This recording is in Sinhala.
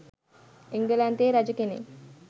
එංගලන්තයේ රජ කෙනෙක්